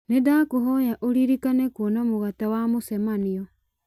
nĩ ndakũhoya ũririkane kũona mũgate wa mũcemanio